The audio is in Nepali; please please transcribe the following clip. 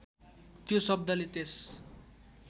त्यो शब्दले त्यस